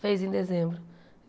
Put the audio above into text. Fez em dezembro.